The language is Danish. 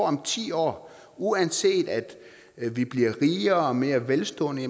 om ti år uanset at vi bliver rigere og mere velstående